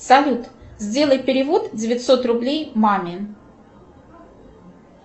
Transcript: салют сделай перевод девятьсот рублей маме